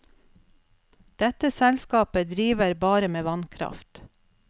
Dette selskapet driver bare med vannkraft.